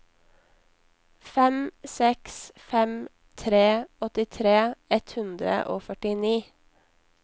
fem seks fem tre åttitre ett hundre og førtini